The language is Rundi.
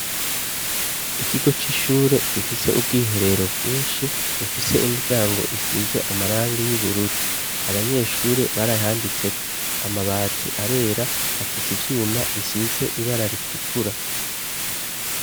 Ikigo c'ishure gifise ubwiherero bwinshi bufise imiryango isize amarangi y'ubururu abanyeshure barahanditseko amabati arera afise ivyuma bisize ibara ritukura.